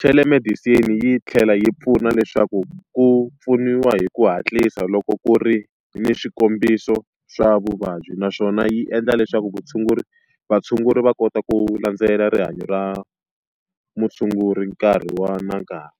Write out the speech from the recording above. Telemedicine yi tlhela yi pfuna leswaku ku pfuniwa hi ku hatlisa loko ku ri ni swikombiso swa vuvabyi naswona yi endla leswaku vutshunguri vatshunguri va kota ku landzelela rihanyo ra mutshunguri nkarhi wa na nkarhi.